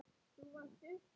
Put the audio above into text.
Þú varst uppi.